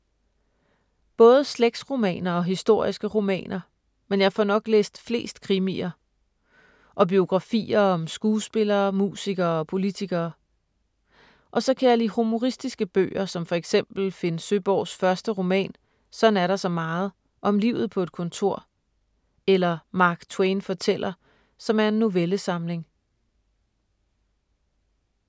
Både slægtsromaner og historiske romaner, men jeg får nok læst flest krimier. Og biografier om skuespillere, musikere og politikere. Og så kan jeg lide humoristiske bøger som for eksempel Finn Søborgs første roman ”Sådan er der så meget”, om livet på et kontor. Eller ”Mark Twain fortæller”, som er en novellesamling.